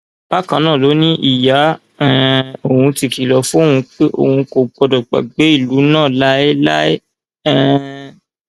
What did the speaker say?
bákan náà ló ní ìyá um òun ti kìlọ fún òun pé òun kò gbọdọ gbàgbé ìlú náà láéláé um